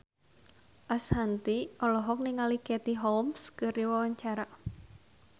Ashanti olohok ningali Katie Holmes keur diwawancara